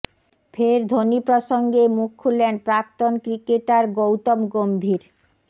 ফের ধোনি প্রসঙ্গে মুখ খুললেন প্রাক্তন ক্রিকেটার গৌতম গম্ভীর